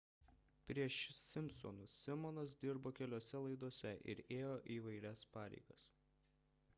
prieš simpsonus simonas dirbo keliose laidose ir ėjo įvairias pareigas